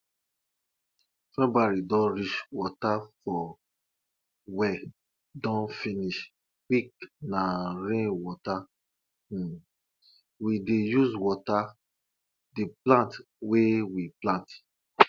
february don reach water for well don finish quickna rain water um we dey use water the plants wey we plant